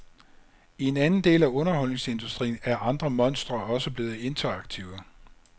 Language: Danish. I en anden del af underholdningsindustrien er andre monstre også blevet interaktive.